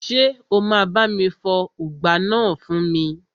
Ṣé o máa bá mi fọ ùgbá náà fún mi?